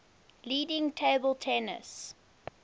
leading table tennis